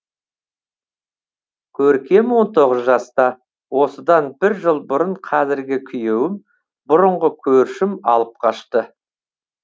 көркем он тоғыз жаста осыдан бір жыл бұрын қазіргі күйеуім бұрынғы көршім алып қашты